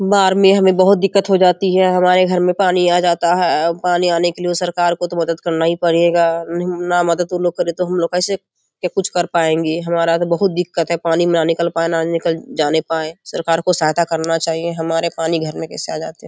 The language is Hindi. बाहर में हमें बहुत दिक्कत हो जाती है हमारे घर में पानी आ जाता है पानी आने के लिए सरकार को तो मदद करना ही पड़ेगा | ना मदद करे तो हम लोग कैसे या कुछ कर पाएंगे हमारा तो बहुत दिक्कत है पानी में न निकल पाना निकल जाने पाए सरकार को सहायता करना चाहिए हमारे पानी भरने